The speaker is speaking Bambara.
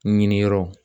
Ɲini yɔrɔ